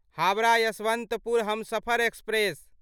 Howrah Yesvantpur Humsafar express